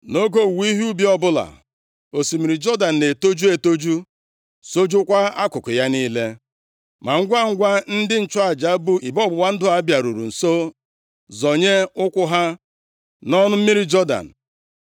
Nʼoge owuwe ihe ubi ọbụla, osimiri Jọdan na-etoju etoju, sọjukwaa akụkụ ya niile. + 3:15 \+xt Jos 4:18; 1Ih 12:15\+xt* Ma ngwangwa ndị nchụaja bu igbe ọgbụgba ndụ a bịaruru nso zọnye ụkwụ ha nʼọnụ mmiri Jọdan,